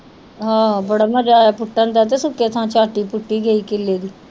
ਆਹੋ ਬੜਾ ਮਜ਼ਾ ਆਇਆ ਪੁੱਟਣ ਦਾ ਤੇ ਸੁੱਕੇ ਥਾਂ ਝੱਟ ਈ ਪੁੱਟੀ ਗਈ ਕਿਲ੍ਹੇ ਦੀ